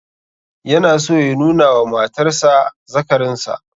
Yana so ya nuna wa matar sa azzakarinsa